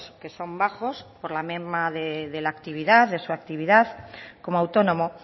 que son bajos por la merma de la actividad de su actividad como autónomo